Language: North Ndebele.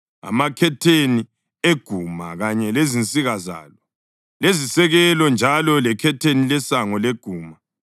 amakhetheni eguma kanye lezinsika zalo lezisekelo, njalo lekhetheni lesango leguma,